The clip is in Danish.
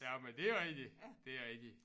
Jamen det er rigtigt det er rigtigt